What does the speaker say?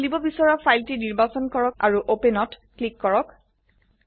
আপোনি খুলিব বিছৰা ফাইলটি নিৰ্বাচন কৰক আৰু ওপেন ক্লিক কৰক